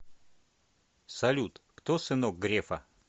салют кто сынок грефа